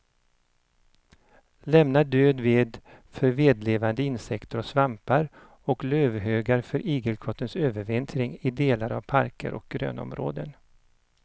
Lämna död ved för vedlevande insekter och svampar och lövhögar för igelkottens övervintring i delar av parker och grönområden.